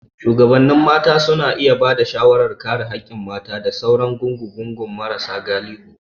Shugabannin mata suna iya ba da shawarar kare haƙƙin mata da sauran gungun marasa galihu.